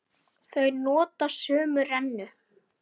Þau nota sömu rennu.